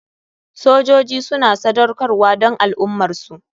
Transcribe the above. Sojoji suna sadaukarwa don al ummarsu.